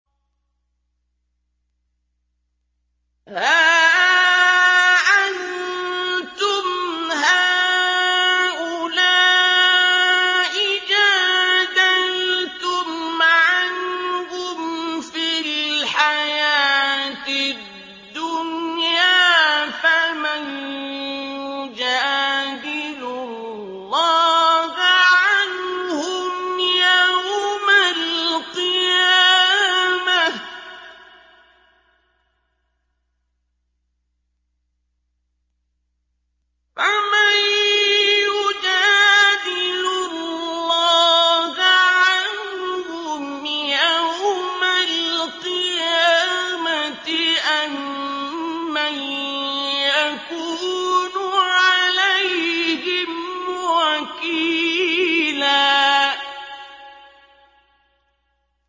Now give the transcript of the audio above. هَا أَنتُمْ هَٰؤُلَاءِ جَادَلْتُمْ عَنْهُمْ فِي الْحَيَاةِ الدُّنْيَا فَمَن يُجَادِلُ اللَّهَ عَنْهُمْ يَوْمَ الْقِيَامَةِ أَم مَّن يَكُونُ عَلَيْهِمْ وَكِيلًا